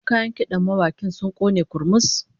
Wasu kayan kidan mawakin sun kone kurmus